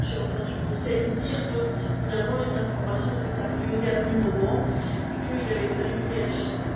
J'ai entendu le Conseil nous dire que les informations étaient arrivées au dernier moment et qu'il avait fallu la réajuster.